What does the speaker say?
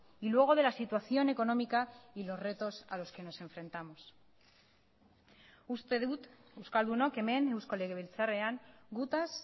y luego de la situación económica y los retos a los que nos enfrentamos uste dut euskaldunok hemen eusko legebiltzarrean gutaz